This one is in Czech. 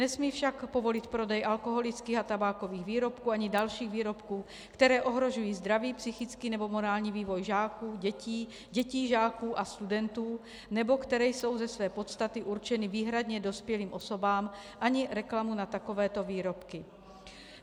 Nesmí však povolit prodej alkoholických a tabákových výrobků ani dalších výrobků, které ohrožují zdraví, psychický nebo morální vývoj žáků, dětí, dětí žáků a studentů nebo které jsou ze své podstaty určeny výhradně dospělým osobám, ani reklamu na takovéto výrobky.